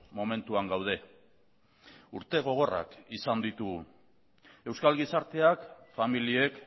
momentuan gaude urte gogorrak izan ditugu euskal gizarteak familiek